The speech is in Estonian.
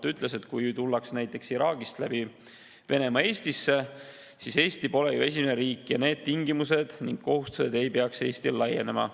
Ta ütles, et kui tullakse näiteks Iraagist läbi Venemaa Eestisse, siis Eesti pole ju esimene riik ja need tingimused ning kohustused ei peaks Eestile laienema.